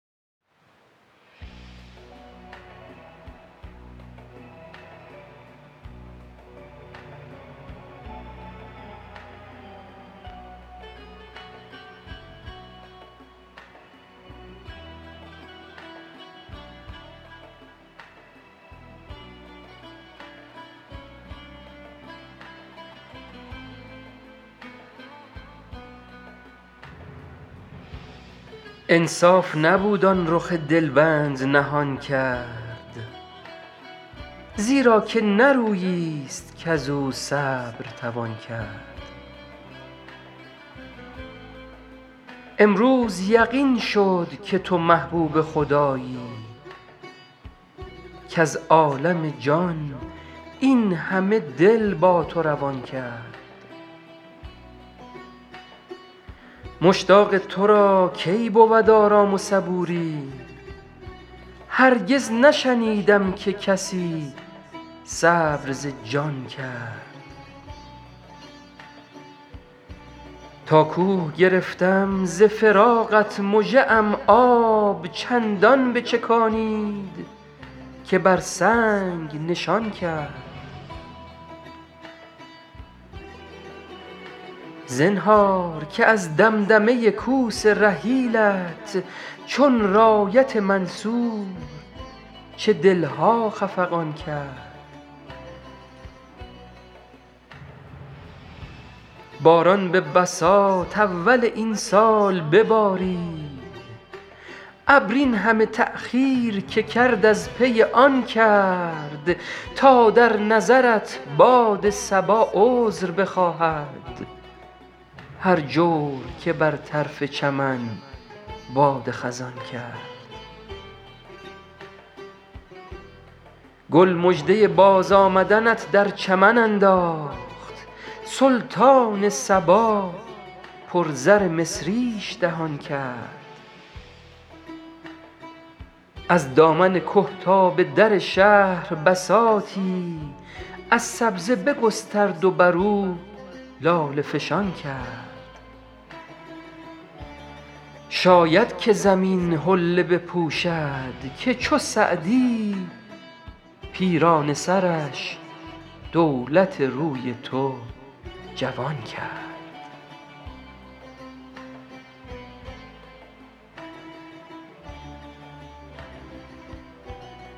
انصاف نبود آن رخ دل بند نهان کرد زیرا که نه رویی ست کز او صبر توان کرد امروز یقین شد که تو محبوب خدایی کز عالم جان این همه دل با تو روان کرد مشتاق تو را کی بود آرام و صبوری هرگز نشنیدم که کسی صبر ز جان کرد تا کوه گرفتم ز فراقت مژه ام آب چندان بچکانید که بر سنگ نشان کرد زنهار که از دمدمه کوس رحیلت چون رایت منصور چه دل ها خفقان کرد باران به بساط اول این سال ببارید ابر این همه تأخیر که کرد از پی آن کرد تا در نظرت باد صبا عذر بخواهد هر جور که بر طرف چمن باد خزان کرد گل مژده بازآمدنت در چمن انداخت سلطان صبا پر زر مصریش دهان کرد از دامن که تا به در شهر بساطی از سبزه بگسترد و بر او لاله فشان کرد شاید که زمین حله بپوشد که چو سعدی پیرانه سرش دولت روی تو جوان کرد